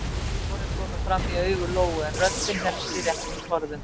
Tárin komu fram í augu Lóu en röddin hélst í réttum skorðum.